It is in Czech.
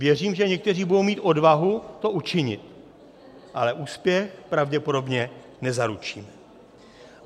Věřím, že někteří budou mít odvahu to učinit, ale úspěch pravděpodobně nezaručí.